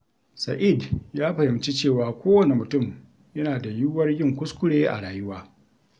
Sa’id ya fahimci cewa kowane mutum yana da yiwuwar yin kuskure a rayuwa.